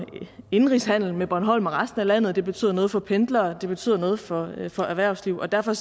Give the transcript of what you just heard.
indenrigshandelen med bornholm og resten af landet det betyder noget for pendlere det betyder noget for for erhvervslivet og derfor